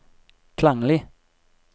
klanglig